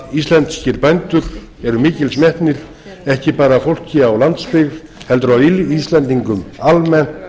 að íslenskir bændur er mikils metnir ekki bara af fólki á landsbyggði heldur af íslendingum almennt